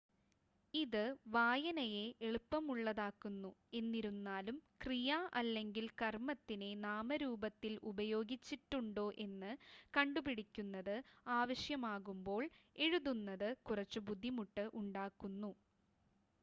ഇത് വായനയെ എളുപ്പമുള്ളതാക്കുന്നു എന്നിരുന്നാലും ക്രിയ അല്ലെങ്കിൽ കർമ്മത്തിനെ നാമരൂപത്തിൽ ഉപയോഗിച്ചിട്ടുണ്ടോ എന്ന് കണ്ടുപിടിക്കുന്നത് ആവശ്യമാകുമ്പോൾ എഴുതുന്നത് കുറച്ച് ബുദ്ധിമുട്ട് ഉണ്ടാക്കുന്നു